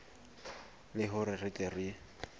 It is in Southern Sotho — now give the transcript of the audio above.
le hore re tle re